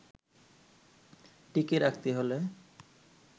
টিকিয়ে রাখতে হলে